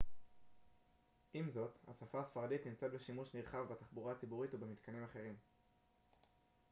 עם זאת השפה הספרדית נמצאת בשימוש נרחב בתחבורה הציבורית ובמתקנים אחרים